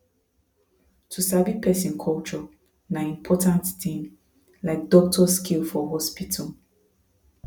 to sabi person culture na important thing like doctor skill for hospital